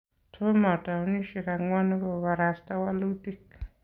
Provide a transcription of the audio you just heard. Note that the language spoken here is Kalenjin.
Tomo towunishek angwanu kobarasta walutik